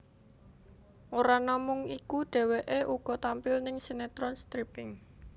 Ora namung iku dheweké uga tampil ning sinetron stripping